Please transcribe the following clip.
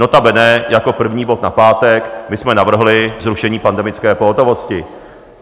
Notabene jako první bod na pátek my jsme navrhli zrušení pandemické pohotovosti.